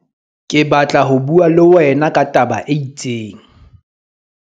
Ke batla ho bua le wena ka taba e itseng.